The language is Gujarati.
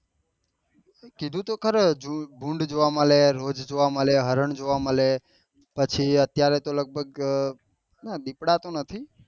કીધું તો ખરો ભૂંડ જોવા મળે રોદ જોવા મળે હરણ હો જોવા મળે પછી અત્યારે તો લગભગ આ પીપળા તો નથી